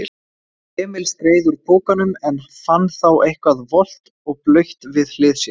Emil skreið úr pokanum en fann þá eitthvað volgt og blautt við hlið sér.